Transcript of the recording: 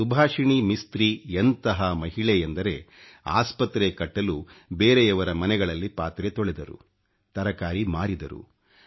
ಸುಭಾಷಿಣಿ ಮಿಸ್ತ್ರಿ ಎಂತಹ ಮಹಿಳೆ ಎಂದರೆ ಆಸ್ಪತ್ರೆ ಕಟ್ಟಲು ಬೇರೆಯವರ ಮನೆಗಳಲ್ಲಿ ಪಾತ್ರೆ ತೊಳೆದರು ತರಕಾರಿ ಮಾರಿದರು